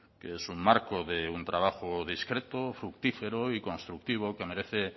que es un marco de un trabajo discreto fructífero y constructivo que merece